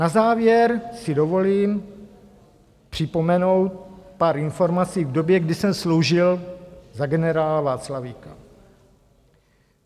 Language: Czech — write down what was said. Na závěr si dovolím připomenout pár informací k době, kdy jsem sloužil za generála Václavíka.